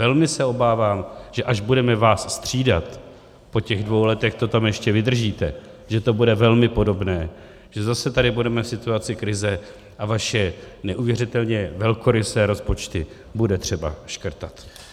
Velmi se obávám, že až budeme vás střídat po těch dvou letech, to tam ještě vydržíte, že to bude velmi podobné, že zase tady budeme v situaci krize a vaše neuvěřitelně velkorysé rozpočty bude třeba škrtat.